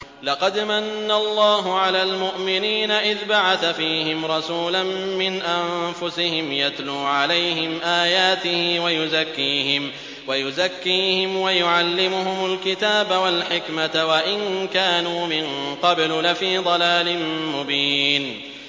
لَقَدْ مَنَّ اللَّهُ عَلَى الْمُؤْمِنِينَ إِذْ بَعَثَ فِيهِمْ رَسُولًا مِّنْ أَنفُسِهِمْ يَتْلُو عَلَيْهِمْ آيَاتِهِ وَيُزَكِّيهِمْ وَيُعَلِّمُهُمُ الْكِتَابَ وَالْحِكْمَةَ وَإِن كَانُوا مِن قَبْلُ لَفِي ضَلَالٍ مُّبِينٍ